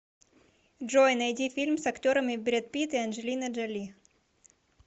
джой найди фильм с актерами бред пит и анджелина джоли